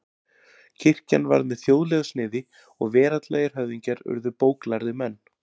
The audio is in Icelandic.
Kirkjan varð með þjóðlegu sniði og veraldlegir höfðingjar urðu bóklærðir menn.